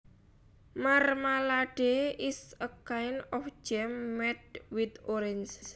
Marmalade is a kind of jam made with oranges